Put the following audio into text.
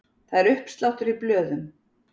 Það er uppsláttur í blöðum.